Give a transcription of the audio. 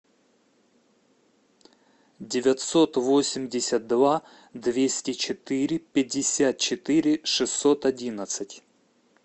девятьсот восемьдесят два двести четыре пятьдесят четыре шестьсот одиннадцать